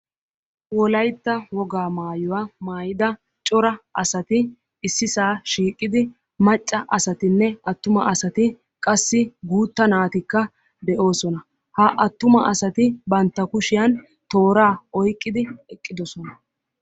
Wolaytta woga maayuwaa maydda cora asati ississa shiiqida macca asatinne attuma asati guutta naatikka de'osona ha attuma asati bantta kushiyaan tooraa oyqqidoosona.